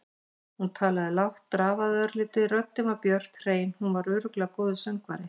Hún talaði lágt, drafaði örlítið, röddin var björt, hrein- hún var örugglega góður söngvari.